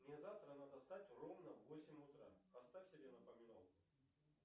мне завтра надо встать ровно в восемь утра поставь себе напоминалку